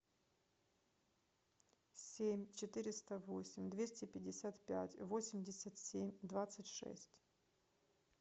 семь четыреста восемь двести пятьдесят пять восемьдесят семь двадцать шесть